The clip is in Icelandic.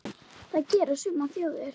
Það gera sumar þjóðir.